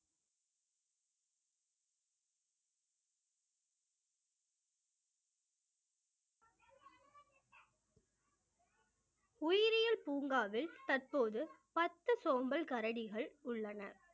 உயிரியல் பூங்காவில் தற்போது பத்து சோம்பல் கரடிகள் உள்ளன